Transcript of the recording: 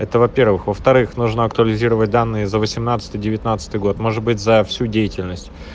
это во-первых во-вторых нужно актуализировать данные за восемьнадцатый девятнадцатый год может быть за всю деятельность